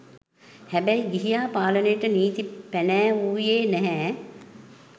හෑබෑයි ගිහියා පාලනයට නීති පෑනෑවුයේ නෑහෑ